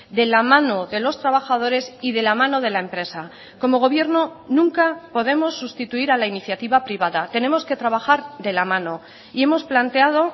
de la mano de los trabajadores y de la mano de la empresa como gobierno nunca podemos sustituir a la iniciativa privada tenemos que trabajar de la mano y hemos planteado